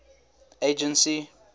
agency